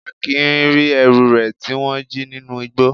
Akin ri ẹrú re ti wón ji ninu ìgbó.